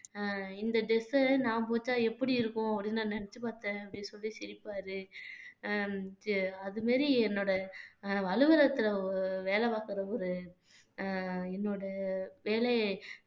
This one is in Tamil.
அஹ் இந்த dress அ நான் போட்டா எப்படி இருக்கும் அப்படின்னு நான் நினைச்சு பார்த்தேன் அப்படின்னு சொல்லி சிரிப்பாரு அஹ் அது மாதிரி என்னோட அஹ் அலுவலகத்துல வேலை பார்க்கிற ஒரு அஹ் என்னோட வேலையை